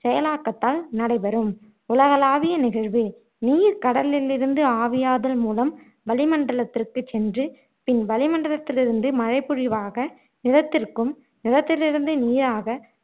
செயலாக்கத்தால் நடைபெறும் உலகளாவிய நிகழ்வு நீர் கடலிலிருந்து ஆவியாதல் மூலம் வளி மண்டலத்திகுச் சென்று பின் வளிமண்டலத்திலிருந்து மழைப்பொழிவாக நிலத்திற்கும் நிலத்திலிருந்து நீராக